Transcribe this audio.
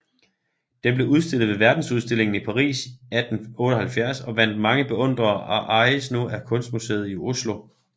Den blev udstillet ved Verdensudstillingen i Paris 1878 og vandt mange beundrere og ejes nu af Kunstmuseet i Oslo